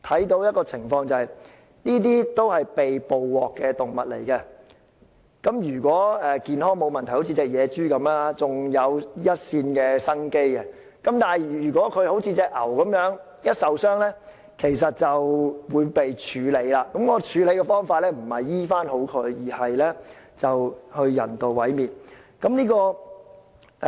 這些都是被捕獲的動物，如果健康沒有問題，像野豬一樣尚有一線生機，但如果像那隻黃牛一樣，一旦受傷便會被處理，而處理的方法不是醫治，而是人道毀滅。